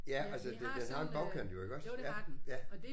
Ja altså den den har en bagkant jo iggås ja ja